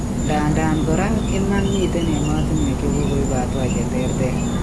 Ndadan kora ko iman miten emetuswek chekokoip hatua cheterter